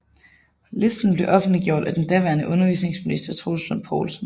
Listen blev offentliggjort af den daværende undervisningsminister Troels Lund Poulsen